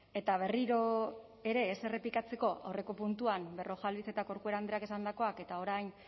eta berriro ere ez errepikatzeko aurreko puntuan berrojalbiz eta corcuera andreak esandakoak eta orain